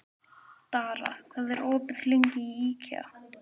Dara, hvað er opið lengi í IKEA?